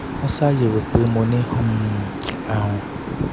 wọ́n ṣàyẹ̀wò pé mo ní um àrùn jẹjẹrẹ egungun nígbà náà